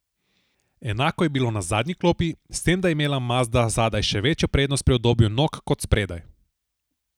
Enako je bilo na zadnji klopi, s tem da je imela mazda zadaj še večjo prednost pri udobju nog kot spredaj.